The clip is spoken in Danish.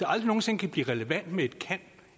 aldrig nogen sinde kan blive relevant med et kan